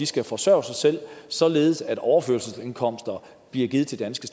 skal forsørge sig selv således at overførselsindkomster bliver givet til danske